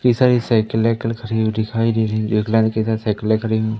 सारी साइकिल वाइकिल खड़ी हुई दिखाई दे रही जो एक लाल के साथ साइकिले खड़ी --